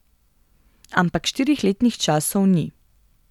Ampak štirih letnih časov ni.